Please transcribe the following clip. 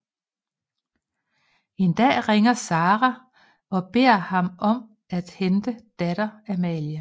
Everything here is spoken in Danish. En dag ringer Sara og beder ham om at hente datter Amalie